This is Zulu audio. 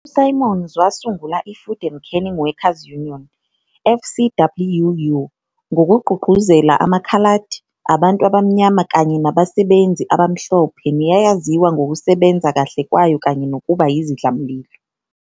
USimons wasungula iFood and Canning Workers Union, FCWU, ngokugqugquzela amakhaladi, abantu abamnyama kanye nabasebenzi abamhlophe neyayaziwa ngokusebenza kahle kwayo kanye nokuba yizidlamlilo.